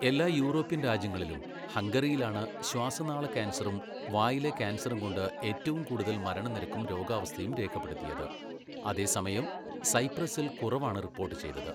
എല്ലാ യൂറോപ്യൻ രാജ്യങ്ങളിലും ഹംഗറിയിലാണ് ശ്വാസനാള കാൻസറും വായിലെ കാൻസറും കൊണ്ട് ഏറ്റവും കൂടുതൽ മരണനിരക്കും രോഗാവസ്ഥയും രേഖപ്പെടുത്തിയത്, അതേസമയം സൈപ്രസിൽ കുറവാണ് റിപ്പോട്ട് ചെയ്തത്.